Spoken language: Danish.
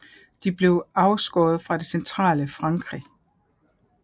De blev afskåret fra det centrale Frankrig